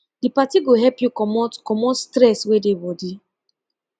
di party go help yu comot comot stress wey dey body